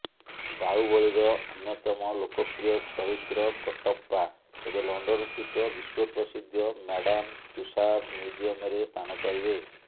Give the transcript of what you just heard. ବାହୁବଳୀର ଅନ୍ୟତମ ଲୋକପ୍ରିୟ ଚରିତ୍ର କଟ୍ଟପା ଏବେ ଲଣ୍ଡନସ୍ଥିତ ବିଶ୍ୱପ୍ରସିଦ୍ଧ ମ୍ୟାଡାମ ତୁଷାଦ ମ୍ୟୁଜିୟମରେ ସ୍ଥାନ ପାଇବେ